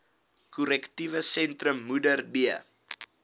korrektiewe sentrum modderbee